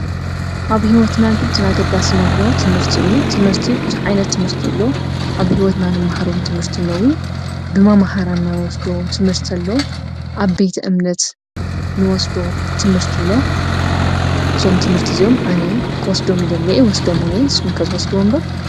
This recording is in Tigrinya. ኣብ ሂወትና ግድን ኣገዳሲ እንብብሎ ትምህርቲ እዩ። ትምህርቲ ብዙሕ ዓይነት ትምህርቲ ኣለው። ኣብ ሂወትና ንምሃሮ ትምህርቲ ፣ ብመማህራንና ንወስዶ ትምህርቲ ኣለው ፣ ኣብ ቤተ- እምነት እንወስዶ ትምህርቲ አሎ። እዞም ትምህረቲ እዚኦም ኣነ ክወስዶ ይደሊ እየ። ንስኩም ከ ትወስድዎም ዶ?